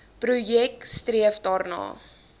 projek streef daarna